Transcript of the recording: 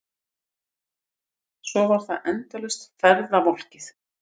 Svo var það endalaust ferðavolkið.